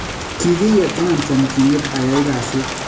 Kigiyetenan chomchinet ayai kasit